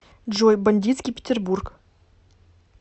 джой бандитский питербург